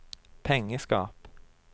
pengeskap